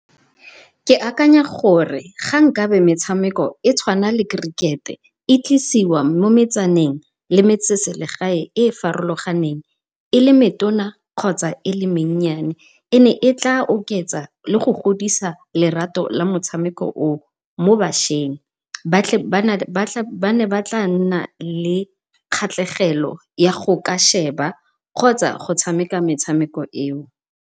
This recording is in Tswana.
Ke akanya gore ga nkabe metshameko e tshwarana le kerikete e tlisiwa mo metsaneng le mo metseselegaeng e e farologaneng e le metona kgotsa e le mennyane e ne e tla oketsa le go godisa lerato la motshameko o mo bašweng ba ne ba tla nna le kgatlhegelo ya go ka sheba kgotsa go tshameka metshameko eo.